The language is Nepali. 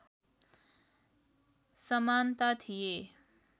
समानता थिए